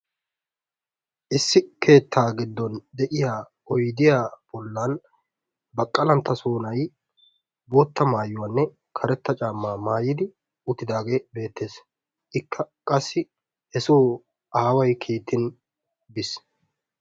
Issi keetta giddon de'iya oydiya bollan Baqqalanttasoo na'ay bootta maayuwanne karetta caammaa maayidi uttidaage beetees, ikka qassi hesoo aaway kiittin biis.